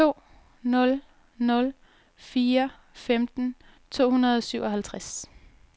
to nul nul fire femten to hundrede og syvoghalvtreds